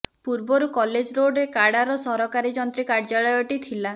ପୂର୍ବରୁ କଲେଜ ରୋଡ଼ରେ କାଡ଼ାର ସହକାରୀ ଯନ୍ତ୍ରୀ କାର୍ଯ୍ୟାଳୟଟି ଥିଲା